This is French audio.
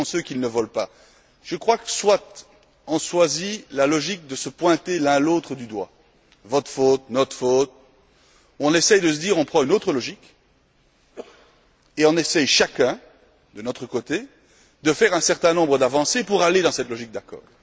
Qui sont ceux qu'il ne vole pas? Je crois que soit on choisit la logique de se pointer l'un l'autre du doigt votre faute, notre faute soit on essaie de se dire qu'on prend une autre logique et qu'on essaie chacun de notre côté de faire un certain nombre d'avancées pour aller dans cette logique d'accord.